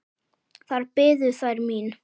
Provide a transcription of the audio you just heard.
Þar biðu þær mín.